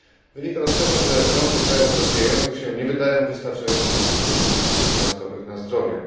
Wynika to z tego, że rządy krajów rozwijających się nie wydają wystarczająco dużo środków finansowych na zdrowie.